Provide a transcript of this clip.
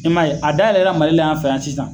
I ma ye a dayɛlɛla Mali an fɛ yan sisan.